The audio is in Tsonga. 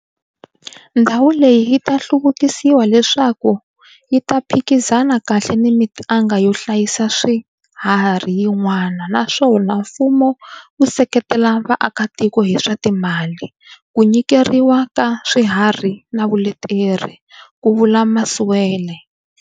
Ndhawu leyi yi ta hluvukisiwa leswaku yi ta phikizana kahle na mitanga yo hlayisa swiharhi yin'wana, naswona mfumo wu seketela vaakatiko hi swa timali, ku nyikeriwa ka swiharhi na vuleteri, ku vula Masualle.